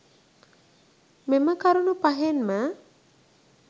මෙම කරුණු පහෙන්ම